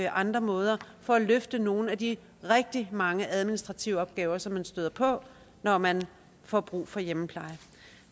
andre måder for at løfte nogle af de rigtig mange administrative opgaver som man støder på når man får brug for hjemmepleje